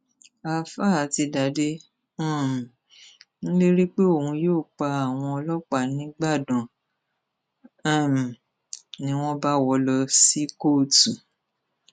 àáfàá àtidàde um ń lérí pé òun yóò pa àwọn ọlọpàá nígbàdàn um ni wọn bá wọ ọ lọ sí kóòtù